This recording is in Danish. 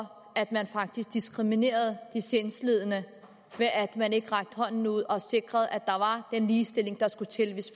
for at man faktisk diskriminerede de sindslidende ved at man ikke rakte hånden ud og sikrede at der var den ligestilling der skulle til hvis